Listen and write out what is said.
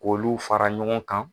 K'olu fara ɲɔgɔn kan